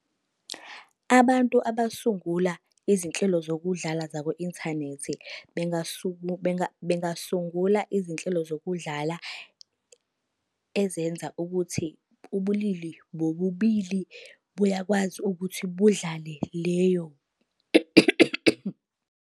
Abantu abasungula izinhlelo zokudlala zaku-inthanethi bengasungula izinhlelo zokudlala ezenza ukuthi ubulili bobubili buyakwazi ukuthi budlale leyo.